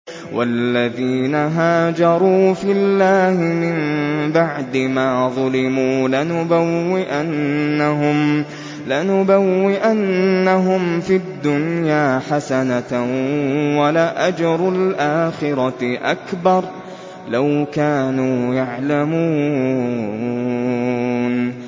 وَالَّذِينَ هَاجَرُوا فِي اللَّهِ مِن بَعْدِ مَا ظُلِمُوا لَنُبَوِّئَنَّهُمْ فِي الدُّنْيَا حَسَنَةً ۖ وَلَأَجْرُ الْآخِرَةِ أَكْبَرُ ۚ لَوْ كَانُوا يَعْلَمُونَ